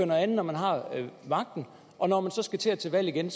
noget andet når man har magten og når man så skal til til valg igen